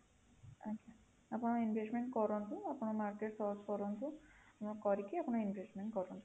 ଆପଣ investment କରନ୍ତୁ ଆପଣ market search କରନ୍ତୁ କରିକି ଆପଣ investment କରନ୍ତୁ